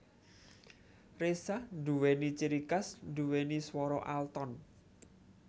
Reza nduwéni ciri khas nduwéni swara alton